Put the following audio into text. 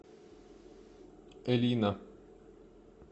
элина